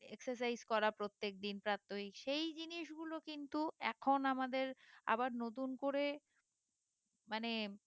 excercise করা প্রত্যেকদিনপ্রাপ্তহিক সেই জিনিসগুলো কিন্তু এখন আমাদের আবার নতুন করে মানে